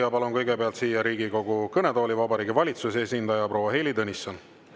Ja palun kõigepealt siia Riigikogu kõnetooli Vabariigi Valitsuse esindaja proua Heili Tõnissoni.